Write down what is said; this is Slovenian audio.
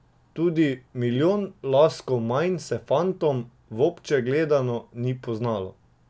Tudi milijon laskov manj se fantom, vobče gledano, ni poznal.